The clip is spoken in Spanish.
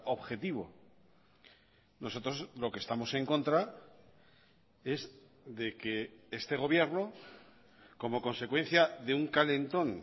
objetivo nosotros lo que estamos en contra es de que este gobierno como consecuencia de un calentón